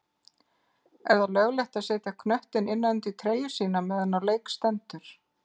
Er það löglegt að setja knöttinn innan undir treyju sína meðan á leik stendur?